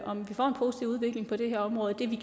om vi får en positiv udvikling på det her område det vil